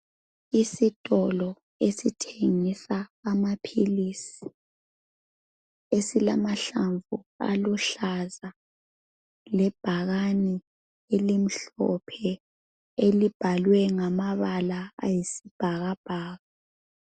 Isitolo esithengisa amaphilisi esilamahlamvu aluhlaza lebhakane elimhlophe elibhalwe ngamabala ayisibhakabhaka.